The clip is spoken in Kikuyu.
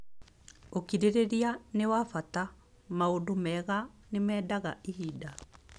Ũkirĩrĩria nĩ wa bata; maũndũ mega nĩ mendaga ihinda.